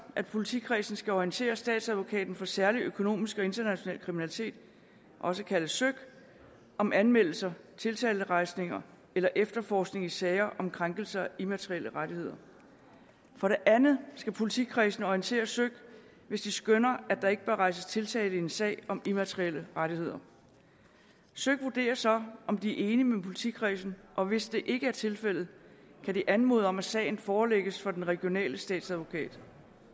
at politikredsene skal orientere statsadvokaten for særlig økonomisk og international kriminalitet også kaldet søik om anmeldelse tiltalerejsning eller efterforskning i sager om krænkelse af immaterielle rettigheder for det andet skal politikredsene orientere søik hvis de skønner at der ikke bør rejses tiltale i en sag om immaterielle rettigheder søik vurderer så om de er enige med politikredsen og hvis det ikke er tilfældet kan de anmode om at sagen forelægges for den regionale statsadvokat